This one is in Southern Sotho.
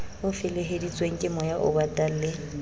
o feleheditsweng kemoya obatang le